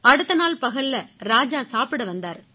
அடுத்த நாள் பகல்ல ராஜா சாப்பிட வந்தாரு